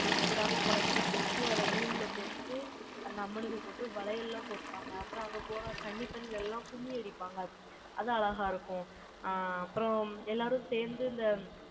எச்சி படாம, கொழுக்கட்டை செஞ்சு, அதை நூல்ல கோர்த்து, அந்த அம்மனுக்கு போட்டு, வளையல்லாம் கொடுப்பாங்க. அப்புறம் அங்க போனால், கன்னி பெண்கள் எல்லாம் கும்மி அடிப்பாங்க. அது அழகா இருக்கும். ஆங், அப்புறம் எல்லாரும் சேர்ந்து, இந்த